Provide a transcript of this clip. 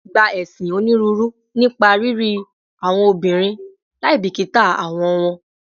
Gba esin oniruuru nipa riri awọn obinrin laibikita awọ wọn